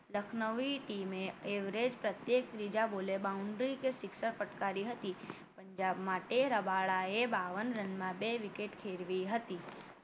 Lucknowi team average પ્રત્યેક ત્રીજા બોલે boundary કે sixer ફટકારી હતી પંજાબ માટે રબાડા એ‌ બાવન રનમાં બે wicket ખેરવી હતી.